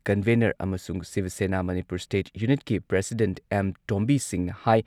Convener ꯑꯃꯁꯨꯡ Shiv Sena, Manipur state ꯌꯨꯅꯤꯠꯀꯤ president M. Tombi ꯁꯤꯡꯍꯅ ꯍꯥꯏ